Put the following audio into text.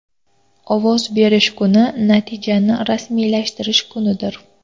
Ovoz berish kuni natijani rasmiylashtirish kunidir.